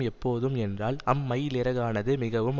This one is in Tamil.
எப்போதும் என்றால் அம்மயிலிறகானது மிகவும்